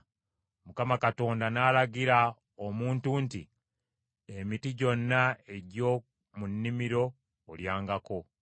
Mukama Katonda n’alagira omuntu nti, “Emiti gyonna egy’omu nnimiro olyangako,